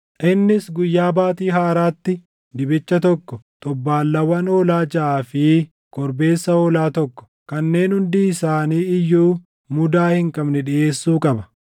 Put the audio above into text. Innis guyyaa Baatii Haaraatti dibicha tokko, xobbaallaawwan hoolaa jaʼaa fi korbeessa hoolaa tokko, kanneen hundi isaanii iyyuu mudaa hin qabne dhiʼeessuu qaba.